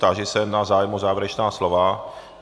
Táži se na zájem o závěrečná slova.